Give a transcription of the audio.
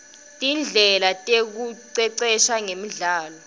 tindlela tekuicecesha ngemidlalo